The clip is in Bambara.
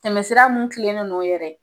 Tɛmɛsira mun tilenen n'o yɛrɛ